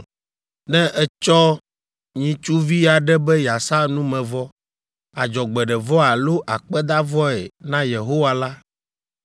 “ ‘Ne ètsɔ nyitsuvi aɖe be yeasa numevɔ, adzɔgbeɖevɔ alo akpedavɔe na Yehowa la,